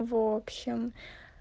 в общем